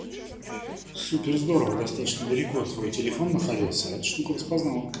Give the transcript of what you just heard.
супер здорово достаточно далеко твой телефон находился а эта штука распознала